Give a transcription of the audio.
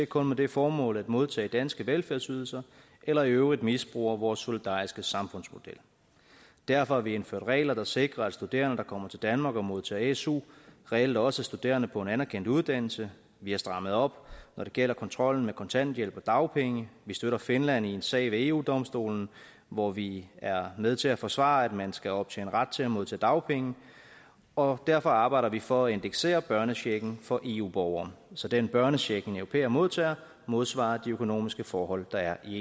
kun med det formål at modtage danske velfærdsydelser eller i øvrigt misbruger vores solidariske samfundsmodel derfor har vi indført regler der sikrer at studerende der kommer til danmark og modtager su reelt også er studerende på en anerkendt uddannelse vi har strammet op når det gælder kontrollen med kontanthjælp og dagpenge vi støtter finland i en sag ved eu domstolen hvor vi er med til at forsvare at man skal optjene ret til at modtage dagpenge og derfor arbejder vi for at indeksere børnechecken for eu borgere så den børnecheck som en europæer modtager modsvarer de økonomiske forhold der er i